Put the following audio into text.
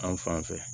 An fan fɛ